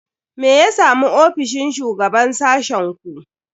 Me ya samu ofishin shugaban sashen ku?